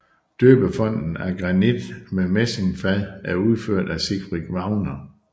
Døbefonten af granit med messingfad er udført af Siegfried Wagner